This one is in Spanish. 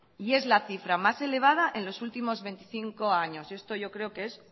y es la cifra más elevada en los últimos veinticinco años y esto yo creo que es